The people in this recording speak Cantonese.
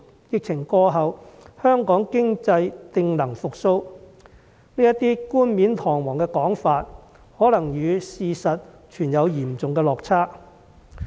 疫情過後，香港經濟定能復蘇"這個冠冕堂皇的說法可能與事實存有嚴重落差。